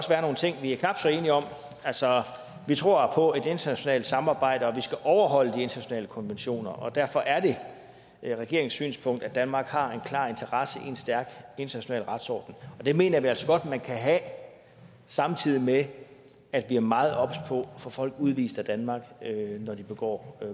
være nogle ting vi er knap så enige om vi tror på internationalt samarbejde og vi skal overholde de internationale konventioner derfor er det regeringens synspunkt at danmark har en klar interesse i en stærk international retsorden det mener vi altså godt at man kan have samtidig med at vi er meget obs på at få folk udvist af danmark når de begår